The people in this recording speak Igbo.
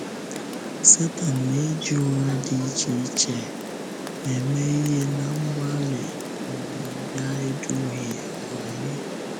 Sẹtán na-ejì ụgha dị iche iche eme ihe ná mgbalị um ya ịdùhie anyị.